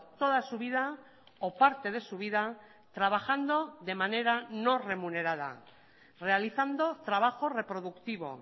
toda su vida o parte de su vida trabajando de manera no remunerada realizando trabajo reproductivo